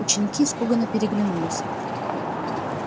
ученики испуганно переглянулись